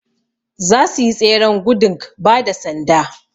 zasuyi tseren gudung bada sanda